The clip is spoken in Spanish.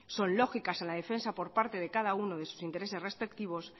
son lógicas en la defensa por parte de cada uno de sus intereses respectivos